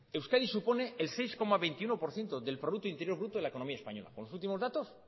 euskadi supone el seis coma veintiuno por ciento del producto interior bruto de la economía española con los últimos datos